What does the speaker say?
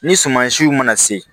Ni suma siw mana se